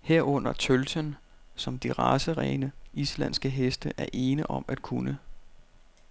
herunder tølten, som de racerene, islandske heste er ene om at kunne.